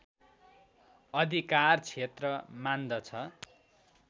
अधिकार क्षेत्र मान्दछ